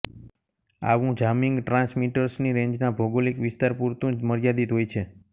આવુ જામીંગ ટ્રાન્સમિટર્સની રેન્જના ભૌગોલિક વિસ્તાર પુરતું જ મર્યાદિત હોય છે